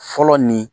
Fɔlɔ nin